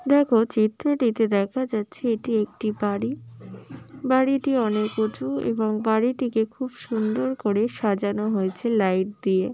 দেখো চিত্রটিতে দেখা যাচ্ছে এটি একটি বাড়ি বাড়িটি অনেক উঁচু এবং বাড়িটিকে খুব সুন্দর করে সাজানো হয়েছে লাইট দিয়ে।